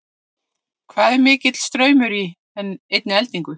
Hvað er mikill straumur í einni eldingu?